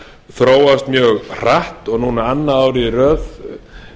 þróast mjög hratt og núna annað árið í röð